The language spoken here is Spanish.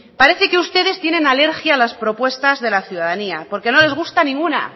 parece que ustedes tienen alergia a las propuestas de la ciudadanía porque no les gusta ninguna